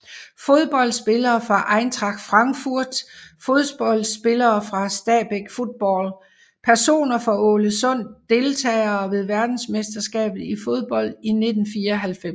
Fodboldspillere fra Eintracht Frankfurt Fodboldspillere fra Stabæk Fotball Personer fra Ålesund Deltagere ved verdensmesterskabet i fodbold 1994